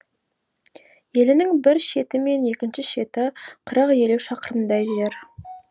елінің бір шеті мен екінші шеті қырық елу шақырымдай жер